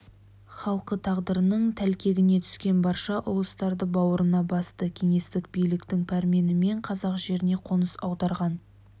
халқы тағдырдың тәлкегіне түскен барша ұлыстарды бауырына басты кеңестік биліктің пәрменімен қазақ жеріне қоныс аударған